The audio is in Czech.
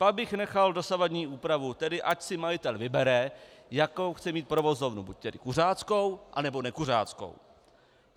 Pak bych nechal dosavadní úpravu, tedy ať si majitel vybere, jakou chce mít provozovnu, buď tedy kuřáckou, anebo nekuřáckou.